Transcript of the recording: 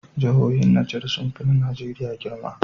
Jahohin niger sunfi na nigeria girma